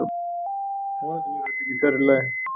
Vonandi verður þetta ekki fjarri lagi